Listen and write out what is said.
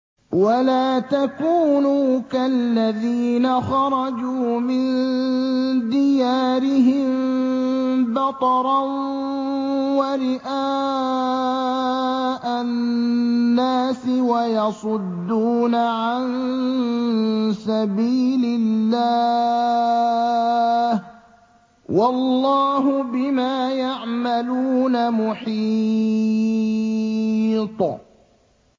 وَلَا تَكُونُوا كَالَّذِينَ خَرَجُوا مِن دِيَارِهِم بَطَرًا وَرِئَاءَ النَّاسِ وَيَصُدُّونَ عَن سَبِيلِ اللَّهِ ۚ وَاللَّهُ بِمَا يَعْمَلُونَ مُحِيطٌ